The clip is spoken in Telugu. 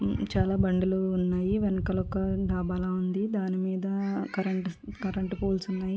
ఈ చాలా బండలు ఉన్నాయ్. వెనకాల ఒక దాబా లాగా ఉంది. దాని మీద కరెంటు స్ట కరెంటు పోల్ కూడా ఉంది.